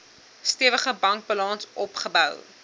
stewige bankbalans opgebou